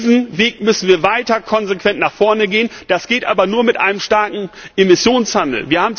Diesen Weg müssen wir weiter konsequent nach vorne gehen. Das geht aber nur mit einem starken Emissionshandel.